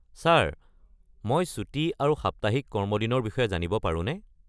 Sir মই ছুটী আৰু সাপ্তাহিক কৰ্মদিনৰ বিষয়ে জানিব পাৰোনে?